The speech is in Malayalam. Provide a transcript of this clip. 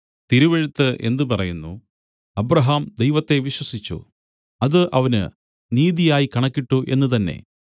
തിരുവെഴുത്ത് എന്ത് പറയുന്നു അബ്രാഹാം ദൈവത്തെ വിശ്വസിച്ചു അത് അവന് നീതിയായി കണക്കിട്ടു എന്നു തന്നേ